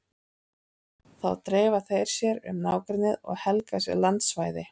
Þá dreifa þeir sér um nágrennið og helga sér landsvæði.